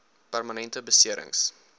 permanente besering s